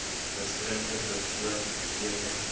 gestremde persoon beteken